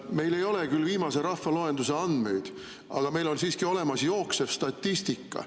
Meil ei ole küll viimase rahvaloenduse andmeid, aga meil on siiski olemas jooksev statistika.